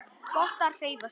Gott að hreyfa sig.